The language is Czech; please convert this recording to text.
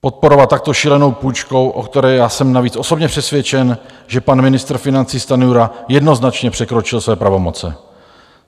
Podporovat takto šílenou půjčku, o které já jsem navíc osobně přesvědčen, že pan ministr financí Stanjura jednoznačně překročil své pravomoce.